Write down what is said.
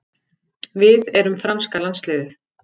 Við erum franska landsliðið.